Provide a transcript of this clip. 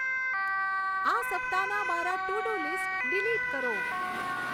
આ સપ્તાહના મારા ટુ ડુ લીસ્ટસ ડીલીટ કરો